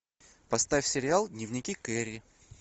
поставь сериал дневники кэрри